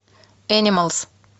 энималс